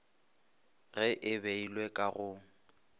ge e beilwe ka go